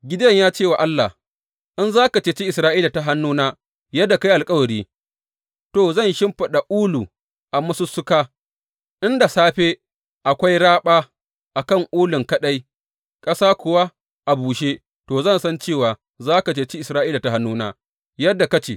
Gideyon ya cewa Allah, In za ka ceci Isra’ila ta hannuna yadda ka yi alkawari, to, zan shimfiɗa ulu a masussuka, inda safe akwai raɓa a kan ulun kaɗai, ƙasa kuwa a bushe, to, zan san cewa za ka ceci Isra’ila ta hannuna, yadda ka ce.